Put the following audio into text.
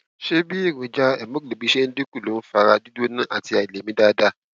ṣé bí èròjà hemoglobin ṣe dín kù ló ń ń fa ara gbígbọn àti àìlèmí dáadáa